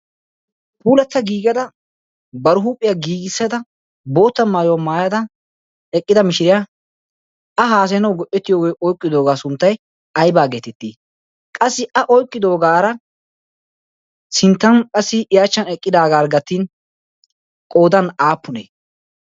puulatta giigada bar huuphiyaa giigissada bootta maayuwaa maayada eqqida mishiriyaa a haasayanau go'etiyoogee oiqqidoogaa sunttai aibaa geetettii qassi a oiqqidoogaara sinttan qassi yaachchan eqqidaagaarggatin qoodan aappunee?